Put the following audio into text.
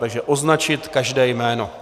Takže označit každé jméno.